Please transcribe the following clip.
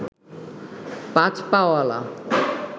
পাঁচ পা অলা